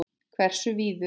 Hversu víður?